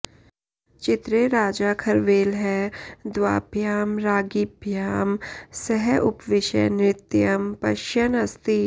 चित्रे राजा खरवेलः द्वाभ्यां राज्ञिभ्यां सह उपविश्य नृत्यं पश्यन् अस्ति